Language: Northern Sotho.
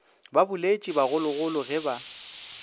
ba boletše bagologolo ge ba